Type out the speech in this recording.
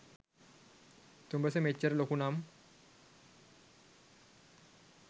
තුඹස මෙච්චර ලොකුනම්